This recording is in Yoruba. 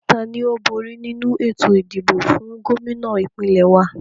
Tani ó bóri nínu ètò ìdìbò fún Gómìnà ìpínlẹ̀ wa?